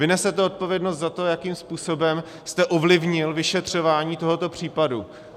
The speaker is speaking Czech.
Vy nesete odpovědnost za to, jakým způsobem jste ovlivnil vyšetřování tohoto případu.